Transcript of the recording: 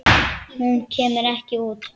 En hún kemur ekki út.